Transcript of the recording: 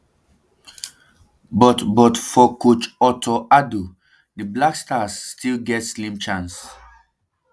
but but for coach otto addo di blackstars still get slim chance